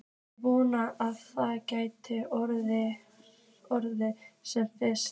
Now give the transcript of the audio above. Ég vona að það geti orðið sem fyrst.